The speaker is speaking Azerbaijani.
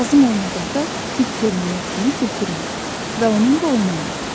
Lazım olmadıqda tibb termometrini götürmə və onunla oynama.